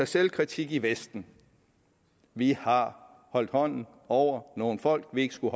selvkritik i vesten vi har holdt hånden over nogle folk vi ikke skulle